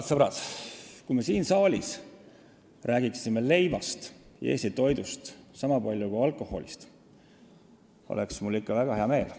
Oi, sõbrad-sõbrad, kui me siin saalis räägiksime leivast ja Eesti toidust niisama palju kui alkoholist, siis oleks mul ikka väga hea meel.